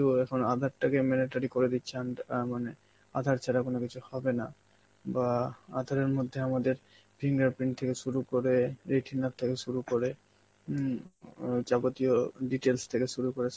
ও এখন আধার তাকে mandatory করে দিচ্ছে এন্ট~ আ মানে আধার ছাড়া কোন কিছু হবে না, বা আঁধারের মধ্যে আমাদের fingerprint থেকে শুরু করে, retina থেকে শুরু করে, হম ও যাবতীয় details থেকে শুরু করে,